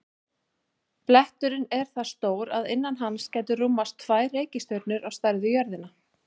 Bletturinn er það stór að innan hans gætu rúmast tvær reikistjörnur á stærð við jörðina.